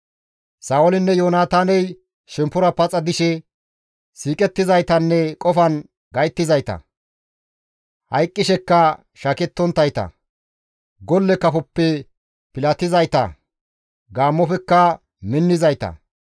«Sa7oolinne Yoonataaney shemppora paxa dishe siiqettizaytanne qofan gayttizayta. Hayqqisheka shaakettonttayta; golle kafoppe pilatizayta; gaammofekka minnizayta.